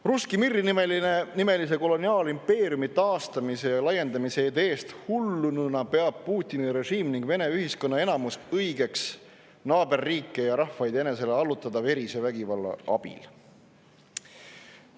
Russki mir'i nimelise koloniaalimpeeriumi taastamise ja laiendamise ideest hullununa peab Putini režiim ning Vene ühiskonna enamus õigeks naaberriike ja ‑rahvaid enesele verise vägivalla abil allutada.